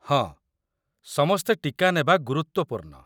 ହଁ, ସମସ୍ତେ ଟୀକା ନେବା ଗୁରୁତ୍ୱପୂର୍ଣ୍ଣ।